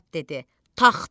Basat dedi: Taxdım.